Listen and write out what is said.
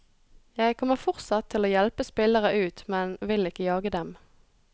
Jeg kommer fortsatt til å hjelpe spillere ut, men vil ikke jage dem.